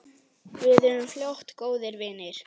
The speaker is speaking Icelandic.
Við urðum fljótt góðir vinir.